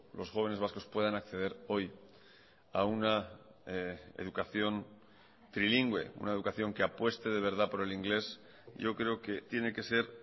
los jóvenes vascos puedan acceder hoy a una educación trilingüe una educación que apueste de verdad por el inglés yo creo que tiene que ser